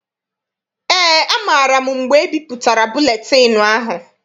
Eé, amaara m mgbe ebipụtara buletịịnụ ahụ.